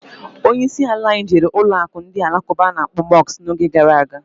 Onye isi ala anyị jere ụlọụka ndị Alakụba a na-akpọ Mọsk n'oge gara aga.